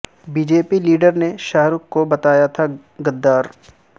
B J پی leader نے شاہ رخ کو بتایا تھا غدار